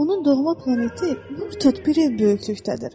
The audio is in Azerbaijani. Onun doğma planeti nur topu bir ev böyüklükdədir.